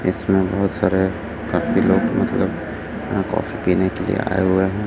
इसमें बहोत सारे काफी लोग मतलब यहां कॉफी पीने के लिए आए हुए हैं।